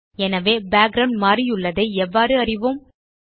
எனவே பேக்கிரவுண்ட் மாற்றியுள்ளதை எவ்வாறு அறிவோம்